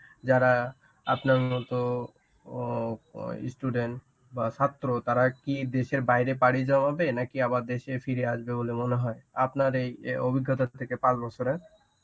যারা আপনার মতো ওও~ student বা ছাত্র তারা কি দেশের বাইরে পাড়ি জমাবে, নাকি আবার দেশে ফিরে আসবে বলে মনে হয়? আপনার এই অভিজ্ঞতা থেকে পাঁচ বছরের